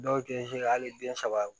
Dɔw tɛ se ka hali den saba